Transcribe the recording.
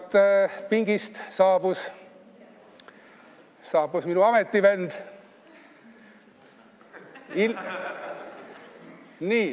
Tagant pingist saabus minu ametivend.